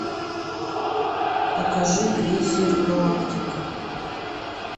покажи крейсер галактика